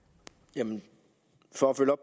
ja